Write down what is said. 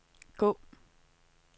gå